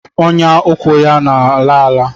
Ọnyà ụkwụ ya a a laala.